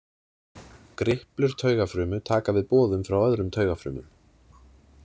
Griplur taugafrumu taka við boðum frá öðrum taugafrumum.